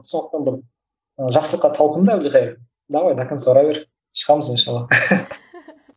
сондықтан бір ы жақсылыққа талпын да әбілқайыр давай до конца ұра бер шығамыз иншалла